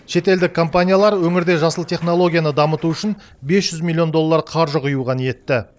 шетелдік компаниялар өңірде жасыл технологияны дамыту үшін бес жүз миллион доллар қаржы құюға ниетті